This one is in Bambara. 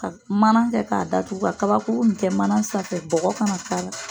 Ka manan kɛ k'a datugu ka kabakuru nin kɛ mana sanfɛ bɔgɔ kana k'a la.